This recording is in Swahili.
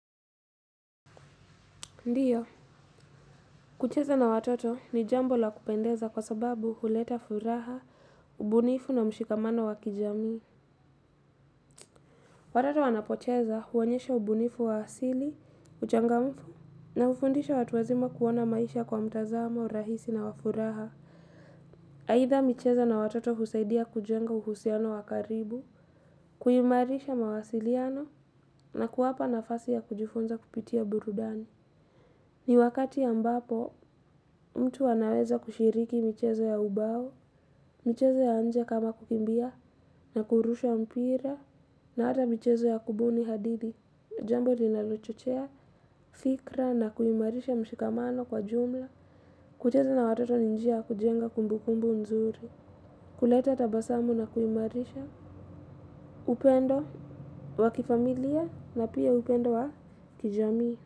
Ndiyo, kucheza na watoto ni jambo la kupendeza kwa sababu huleta furaha, ubunifu na mshikamano wa kijamii. Watoto wanapocheza huonyesha ubunifu wa asili, uchangamfu na ufundisha watu wazima kuona maisha kwa mtazamo, rahisi na wa furaha. Aitha michezo na watoto husaidia kujenga uhusiano wa karibu, kuimarisha mawasiliano na kuwapa nafasi ya kujifunza kupitia burudani. Ni wakati ya mbapo mtu anaweza kushiriki michezo ya ubao, michezo ya nje kama kukimbia, na kurusha mpira, na hata michezo ya kubuni hadithi, jambo linalochochea, fikra, na kuimarisha mshikamano kwa jumla, kucheza na watoto ni njia ya kujenga kumbukumbu nzuri, kuleta tabasamu na kuimarisha, upendo, wa kifamilia, na pia upendo wa kijamii.